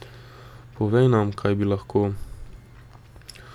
Povej nam, kaj bi lahko.